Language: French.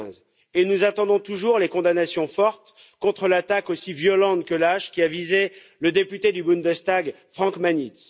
2015. Et nous attendons toujours les condamnations fortes contre l'attaque, aussi violente que lâche, qui a visé le député du Bundestag Frank Magnitz.